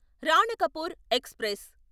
Ranakpur express